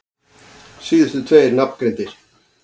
Síðustu tveir nafngreindir